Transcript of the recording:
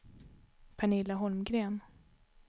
Pernilla Holmgren